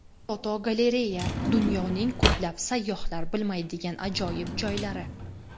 Fotogalereya: Dunyoning ko‘plab sayyohlar bilmaydigan ajoyib joylari.